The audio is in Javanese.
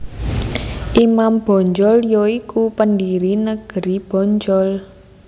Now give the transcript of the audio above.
Imam Bonjol ya iku pendiri negeri Bonjol